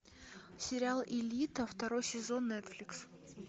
сериал элита второй сезон нетфликс